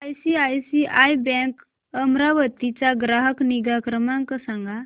ICICI bank Amravati चा ग्राहक निगा क्रमांक सांगा